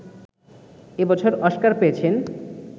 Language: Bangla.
এ বছর অস্কার পেয়েছেন